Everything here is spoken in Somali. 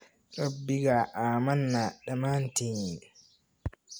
Rabbiga ammaana dhammaantiin